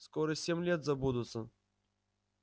скоро семь лет забудутся